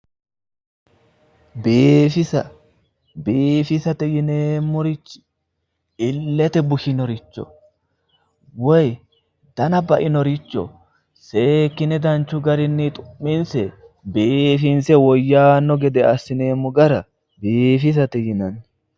biifisa biifisate yineemmorichi illete bushinoricho woyi dana bainoricho seekkine danchu garinni xu'minse biifinse woyyanno gede assineemmo gara biifisate yinanni.